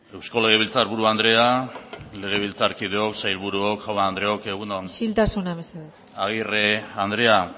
eusko legebiltzarburu andrea legebiltzarkideok sailburuok jaun andreok egun on agirre andrea